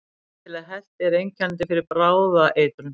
Breytileg helti er einkennandi fyrir bráða eitrun.